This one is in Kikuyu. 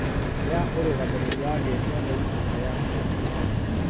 ya ũrũgamĩrĩri wa gĩko nĩ ikinya rĩa bata